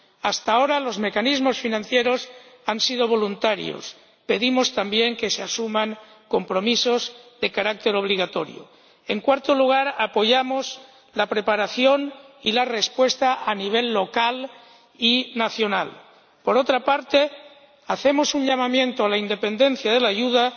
Hasta ahora los mecanismos financieros han sido voluntarios pedimos también que se asuman compromisos de carácter obligatorio. En cuarto lugar, apoyamos la preparación y la respuesta a nivel local y nacional. Por otra parte, hacemos un llamamiento a la independencia de la